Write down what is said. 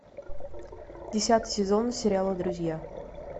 десятый сезон сериала друзья